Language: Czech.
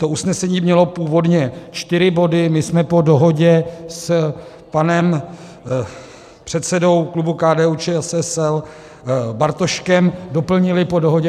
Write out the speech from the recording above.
To usnesení mělo původně čtyři body, my jsme po dohodě s panem předsedou klubu KDU-ČSL Bartoškem doplnili po dohodě...